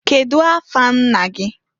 Kedu afa nna gị?